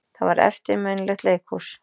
Það var eftirminnilegt leikhús.